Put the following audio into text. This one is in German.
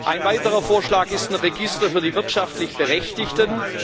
Ein weiterer Vorschlag ist ein Register für die wirtschaftlich Berechtigten.